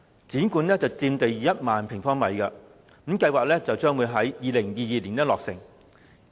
故宮館佔地1萬平方米，計劃於2022年落成。